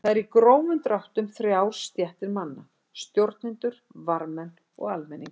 Þar eru í grófum dráttum þrjár stéttir manna: Stjórnendur, varðmenn og almenningur.